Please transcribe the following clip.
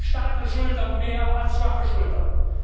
Starke Schultern mehr als schwache Schultern.